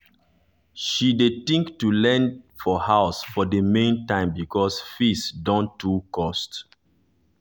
she dey think to dey learn for house for the main time because fees dun too cost